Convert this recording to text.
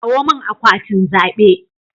Kawo min akwatin zabe